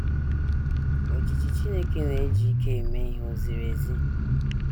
Ojiji Chineke Na - eji Ike Eme Ihe Ò Ziri Ezi?